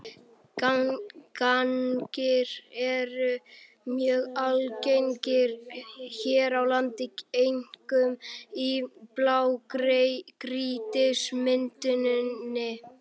Gangar eru mjög algengir hér á landi, einkum í blágrýtismynduninni.